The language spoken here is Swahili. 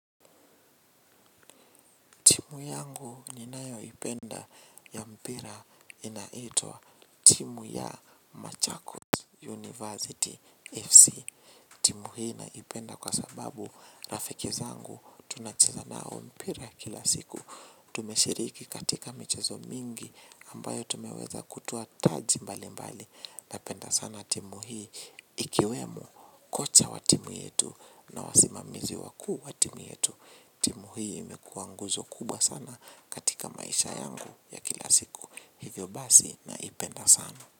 Timu yangu ni nayo ipenda ya mpira inaitwa timu ya Machakos University FC. Timu hii naipenda kwa sababu rafikizangu tunachizanao mpira kila siku. Tumeshiriki katika michezo mingi ambayo tumeweza kutuwa taji mbali mbali. Napenda sana timu hii ikiwemu kocha wa timu yetu na wasimamizi wakuu wa timu yetu. Timu hii imekuwa nguzo kuba sana katika maisha yangu ya kila siku. Hivyo basi na ipenda sana.